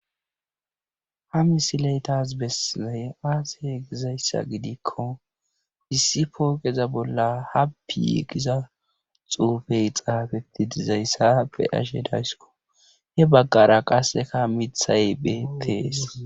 ha misile tas bessizay aaze gizayssa gidikko issi pooqeza bolla happy giza xuufee xaafetti dizayssa be7ashe dayskko he baggara qassika mithay beettees.